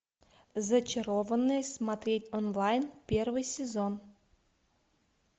зачарованные смотреть онлайн первый сезон